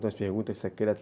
as perguntas secretas.